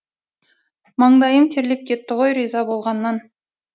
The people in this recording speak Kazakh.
маңдайым терлеп кетті ғой риза болғаннан